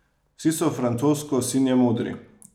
Vsi so francosko sinje modri!